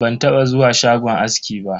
Ban taba zuwa shagon aski ba.